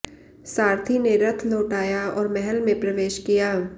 सारथी ने रथ लौटाया और महल में प्रवेश किया